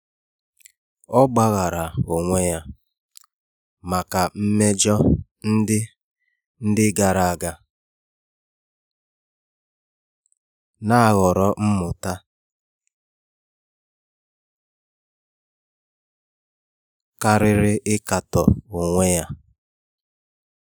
Ọ́ gbàghàrà onwe ya màkà mmejọ ndị ndị gàrà ága, nà-àhọ̀rọ́ mmụta kàrị́rị́ íkàtọ́ onwe ya.